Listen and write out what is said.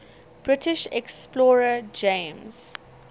british explorer james